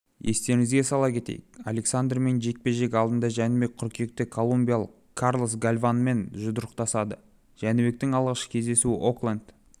естеріңізге сала кетейік александермен жекпе-жек алдында жәнібек қыркүйекте колумбиялық карлос гальванмен жұдырықтасады жәнібектің алғашқы кездесуі окленд